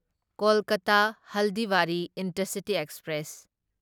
Kolkata Haldibari Intercity express